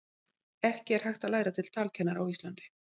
ekki er hægt að læra til talkennara á íslandi